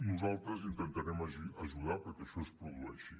nosaltres intentarem ajudar perquè això es produeixi